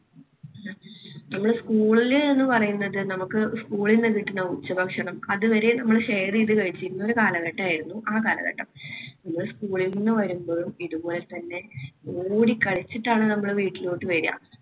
നമ്മളെ school ൽ എന്ന് പറയുന്നത് നമുക്ക് school ന്നു കിട്ടുന്ന ഉച്ചഭക്ഷണം അതുവരെ നമ്മുടെ share ചെയ്ത് കഴിച്ചിരുന്ന ഒരു കാലഘട്ടമായിരുന്നു ആ ഒരു കാലഘട്ടം. അന്ന് school ൽ നിന്ന് വരുമ്പോഴും ഇതുപോലെതന്നെ ഓടി കളിച്ചിട്ടാണ് നമ്മൾ വീട്ടിലോട്ട് വരിക